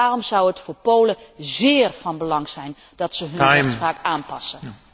Daarom zou het voor Polen zeer van belang zijn dat ze hun rechtspraak aanpassen.